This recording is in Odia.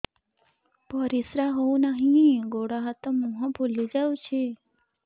ପରିସ୍ରା ହଉ ନାହିଁ ଗୋଡ଼ ହାତ ମୁହଁ ଫୁଲି ଯାଉଛି